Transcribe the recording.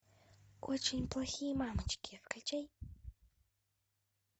очень плохие мамочки включай